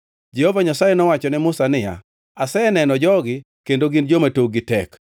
Jehova Nyasaye nowacho ne Musa niya, “Aseneno jogi kendo gin joma tokgi tek.